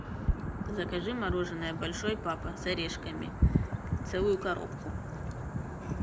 закажи мороженое большой папа с орешками целую коробку